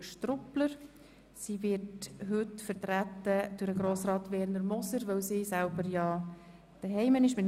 Der Vorstoss wird von Herrn Grossrat Moser vertreten, weil sie selbst ja aufgrund eines Unfalls nicht hier ist.